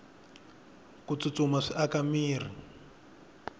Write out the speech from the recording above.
ku tsutsuma swi aka mirhi